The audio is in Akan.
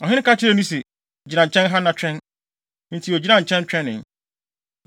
Ɔhene ka kyerɛɛ no se, “Gyina nkyɛn ha na twɛn.” Enti ogyinaa nkyɛn twɛnee.